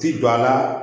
Ti don a la